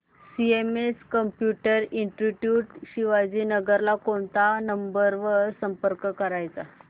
CMS computer institute Shivajinagar ला कोणत्या number वर संपर्क करायचा